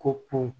Ko pon